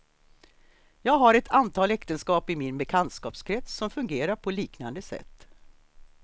Jag har ett antal äktenskap i min bekantskapskrets som fungerar på liknande sätt.